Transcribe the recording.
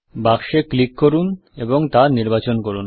বাক্সে ক্লিক করুন এবং তা নির্বাচন করুন